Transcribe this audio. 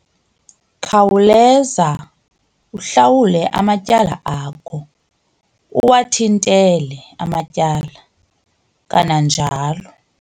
Khawuleza uhlawule amatyala akho uwathintele amatyala, kananjalo